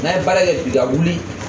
N'a ye baara kɛ bi wuli